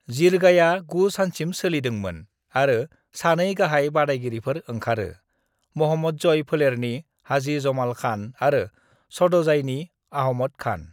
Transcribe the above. जिरगाया गु सानसिम सोलिदोंमोन आरो सानै गाहाय बादायगिरिफोर ओंखारो: महम्मदजई फोलेरनि हाजी जमाल खान आरो सद'जाईनि अहमद खान।